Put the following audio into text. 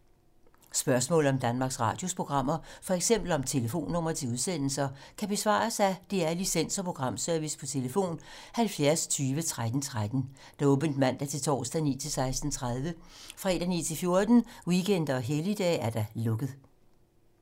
Spørgsmål om Danmarks Radios programmer, f.eks. om telefonnumre til udsendelser, kan besvares af DR Licens- og Programservice: tlf. 70 20 13 13, åbent mandag-torsdag 9.00-16.30, fredag 9.00-14.00, weekender og helligdage: lukket.